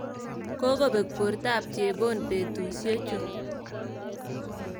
Kokobek bortab chebon betusyechu.